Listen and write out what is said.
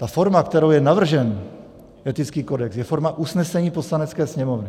Ta forma, kterou je navržen etický kodex, je forma usnesení Poslanecké sněmovny.